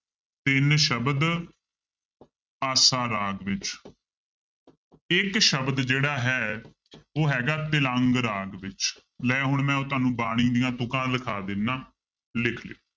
ਤਿੰਨ ਸ਼ਬਦ ਆਸਾ ਰਾਗ ਵਿੱਚ ਇੱਕ ਸ਼ਬਦ ਜਿਹੜਾ ਹੈ ਉਹ ਹੈਗਾ ਤਿਲੰਗ ਰਾਗ ਵਿੱਚ, ਲੈ ਹੁਣ ਮੈਂ ਉਹ ਤੁਹਾਨੂੰ ਬਾਣੀ ਦੀਆਂ ਤੁੱਕਾਂ ਲਿਖਾ ਦਿਨਾ, ਲਿਖ ਲਇਓ।